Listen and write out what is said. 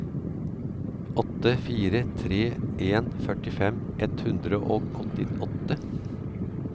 åtte fire tre en førtifem ett hundre og åttiåtte